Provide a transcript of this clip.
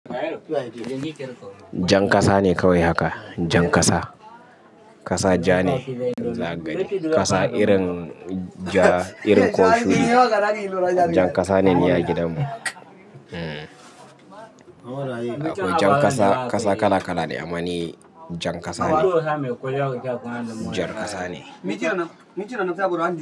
Jan kasa ne kawai haka, jan kasa. Kasa ja ne za ka gani. Kasa irin ja, irin koh shudi. Jan kasa ne ni a gidanmu. Akwai jan kasa, kasa kala kala ne amma ni jan kasa ne, jar kasa ne.